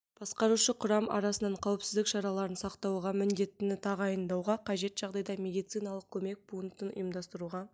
басқарушы құрам арасынан қауіпсіздік шараларын сақтауға міндеттіні тағайындауға қажет жағдайда медициналық көмек пунктін ұйымдастыруға